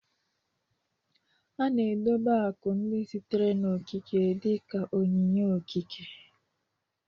A na-edobe akụ ndị sitere n'okike dị ka onyinye okike